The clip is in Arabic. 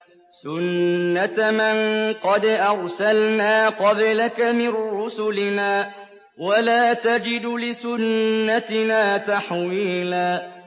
سُنَّةَ مَن قَدْ أَرْسَلْنَا قَبْلَكَ مِن رُّسُلِنَا ۖ وَلَا تَجِدُ لِسُنَّتِنَا تَحْوِيلًا